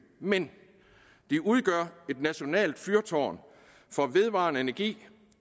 men de udgør et nationalt fyrtårn for vedvarende energi